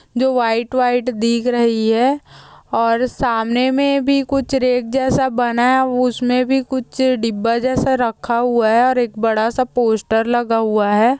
जो white white दिख रही है और सामने में भी कुछ रेक जैसा बना हुआ है उसमे भी कुछ डिब्बा जैसा रखा हुआ है और एक बड़ा सा पोस्टर लगा हुआ है।